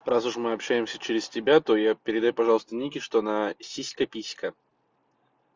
раз уж мы общаемся через тебя то я передай пожалуйста нике что она сиська писька